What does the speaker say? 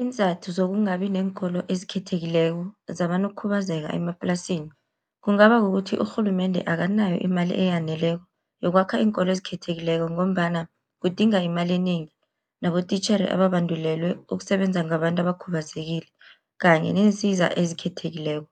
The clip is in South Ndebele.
Iinzathu zokungabi neenkolo ezikhethekileko zabanokukhubazeka emaplasini. Kungaba kukuthi urhulumende akanayo imali eyaneleko yokwakha iinkolo ezikhethekileko, ngombana kudinga imali enengi nabotitjhere ababandulelwe ukusebenza ngabantu abakhubazekile kanye neensiza ezikhethekileko.